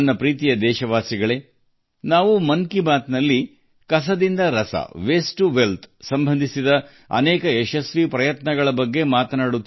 ನನ್ನ ಪ್ರೀತಿಯ ದೇಶವಾಸಿಗಳೇ ಮನ್ ಕಿ ಬಾತ್ ನಲ್ಲಿ ನಾವು ತ್ಯಾಜ್ಯದಿಂದ ಸಂಪತ್ತು ಕುರಿತಂತೆ ಯಶಸ್ವಿ ಪ್ರಯತ್ನಗಳನ್ನು ಚರ್ಚಿಸುತ್ತಿರುತ್ತೇವೆ